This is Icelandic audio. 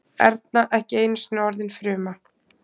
Erna ekki einusinni orðin fruma.